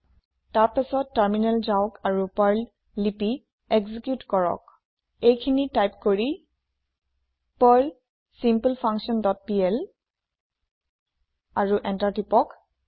তাৰ পাছত টাৰমিনেল যাওক আৰু পাৰ্ল লিপি একজিকিউট কৰক এই খিনি টাইপ কৰি পাৰ্ল ছিম্পলফাংকশ্যন ডট পিএল আৰু এন্টাৰ টিপক